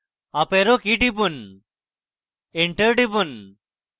up arrow key টিপুন enter টিপুন